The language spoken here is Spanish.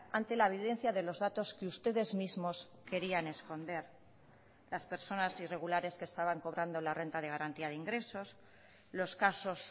ante la evidencia de los datos que ustedes mismos querían esconder las personas irregulares que estaban cobrando la renta de garantía de ingresos los casos